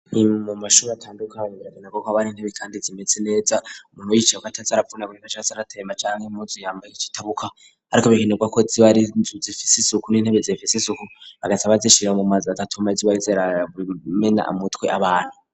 Imbo amashure atandukanye ragenako ko abari intebe kandi zimetse neza umuntu wicewa cazarapfuna gugifacra zaratema cyange imuzi yambaye ikitabuka ariko bikenerwa ko zibari zifise isuku n'intebe zifise isuku agasaba zishira mu mazir atatu ma zibari zera burimena amutwe abantu.